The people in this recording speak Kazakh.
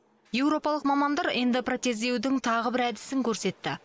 еуропалық мамандар эндопротездеудің тағы бір әдісін көрсетті